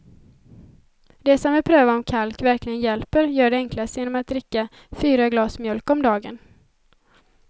De som vill pröva om kalk verkligen hjälper gör det enklast genom att dricka fyra glas mjölk om dagen.